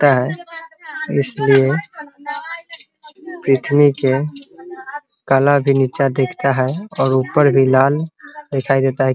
होता है । इसलिए पुर्थ्वी के काला भी नीचा दिखता है और ऊपर भी लाल दिखाई देता है ।